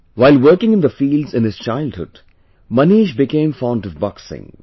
While working in the fields in his childhood, Manish became fond of boxing